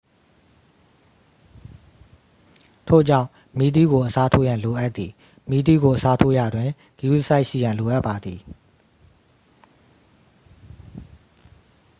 ထို့ကြောင့် မီးသီးကို အစားထိုးရန် လိုအပ်သည် မီးသီးကို အစားထိုးရာတွင် ဂရုတစိုက်ရှိရန် လိုအပ်ပါသည်